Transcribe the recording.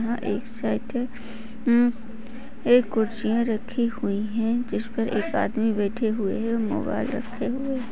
यहा एक सेट अम्म एक कुर्सियाँ रखी हुई है जिसपर एक आदमी बैठे हुए है मोबाईल रखे हुए--